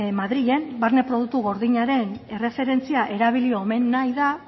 madrilen barne produktu gordinaren erreferentzia erabili eman omen nahi da